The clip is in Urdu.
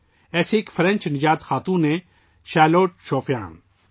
اسی طرح ایک فرانسیسی نژاد خاتون ہے شارلوٹ شوپا